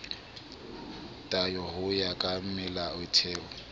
tayo ho ya ka melaotheo